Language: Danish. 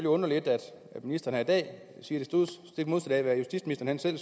undre lidt at ministeren i dag siger det stik modsatte af hvad justitsministeren